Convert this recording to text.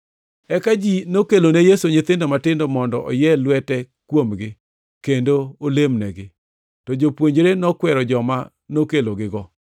Eka ji nokelone Yesu nyithindo matindo, mondo oyie lwete kuomgi, kendo olemnegi. To jopuonjre nokwero joma nokelogigo.